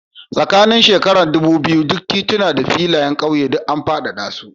Tsakanin shekara ɗubu biyu duk tituna da filin ƙauyen an faɗaɗa su.